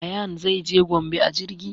Ayaan zai je gombe a jirgi